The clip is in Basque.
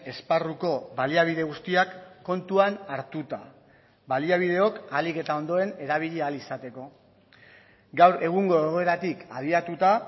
esparruko baliabide guztiak kontuan hartuta baliabideok ahalik eta ondoen erabili ahal izateko gaur egungo egoeratik abiatuta